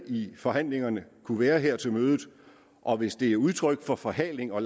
i forhandlingerne kunne være her til mødet og hvis det er udtryk for forhaling og